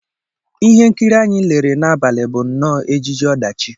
Ihe nkiri anyị lere n'abalị bụ nnọọ ejije ọdachi